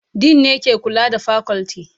Dean ne ke kula da fakulti